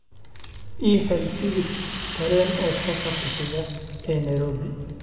I hel tigidh tareen oo safarka xiga ee nairobi